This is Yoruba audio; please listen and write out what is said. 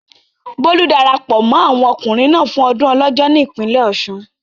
Bólú darapọ̀ mọ́ àwọn ọkùnrin náà fún ọdún Ọlọ́jọ́ ní ìpínlẹ̀ Ọ̀ṣun.